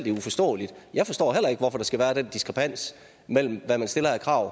er uforståeligt jeg forstår heller ikke hvorfor der skal være den diskrepans mellem hvad man stiller af krav